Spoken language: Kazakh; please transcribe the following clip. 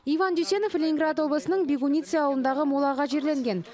иван дүйсенов ленинград облысының бегулицы ауылындағы молаға жерленген